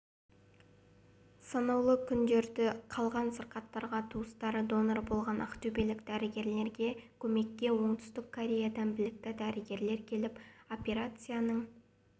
санаулы күндері қалған сырқаттарға туыстары донор болған ақтөбелік дәрігерлерге көмекке оңтүстік кореядан білікті дәрігер келіп операцияның